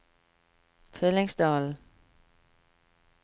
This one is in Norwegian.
Fyllingsdalen